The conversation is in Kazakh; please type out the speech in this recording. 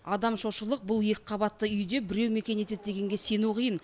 адам шошырлық бұл екі қабатты үйде біреу мекен етеді дегенге сену қиын